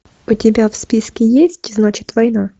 у тебя в списке есть значит война